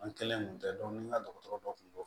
An kɛlen kun tɛ ni n ka dɔgɔtɔrɔ dɔ kun do